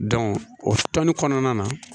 o tɔni kɔnɔna na